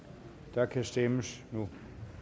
der kan stemmes nu